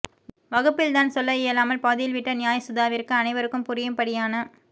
வகுப்பில் தான் சொல்ல இயலாமல் பாதியில் விட்ட நியாயசுதாவிற்கு அனைவருக்கும் புரியும்படியான